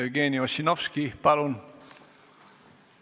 Jevgeni Ossinovski, palun!